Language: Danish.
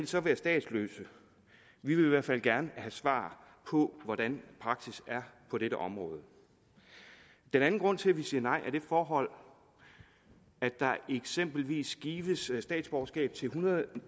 så være statsløse vi vil i hvert fald gerne have svar på hvordan praksis er på dette område den anden grund til at vi siger nej er det forhold at der eksempelvis gives statsborgerskab til en hundrede og